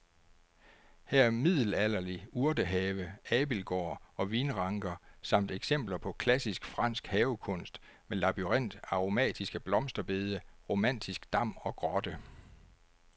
Her er middelalderlig urtehave, abildgård og vinranker samt eksempler på klassisk fransk havekunst med labyrint, aromatiske blomsterbede, romantisk dam og grotte.